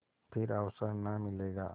फिर अवसर न मिलेगा